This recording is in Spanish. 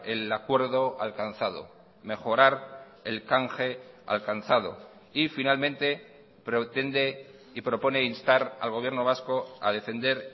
el acuerdo alcanzado mejorar el canje alcanzado y finalmente pretende y propone instar al gobierno vasco a defender